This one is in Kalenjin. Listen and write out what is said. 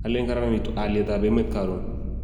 Alen karanitu aliet ab emet karon